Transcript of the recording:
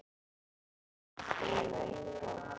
Það vantar einn stól og eitt borð.